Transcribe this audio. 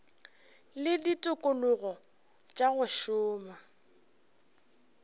le ditikologo tša go šoma